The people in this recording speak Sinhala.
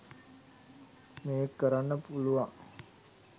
මේක කරන්න පුළුවං.